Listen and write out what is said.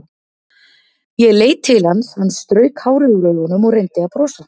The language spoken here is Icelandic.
Ég leit til hans, hann strauk hárið úr augunum og reyndi að brosa.